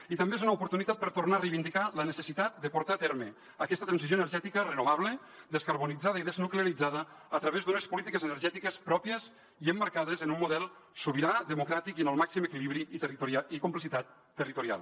i també és una oportunitat per tornar a reivindicar la necessitat de portar a terme aquesta transició energètica renovable descarbonitzada i desnuclearitzada a través d’unes polítiques energètiques pròpies i emmarcades en un model sobirà democràtic i amb el màxim equilibri i complicitat territorial